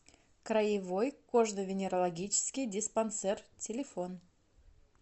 краевой кожно венерологический диспансер телефон